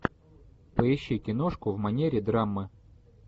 поищи киношку в манере драма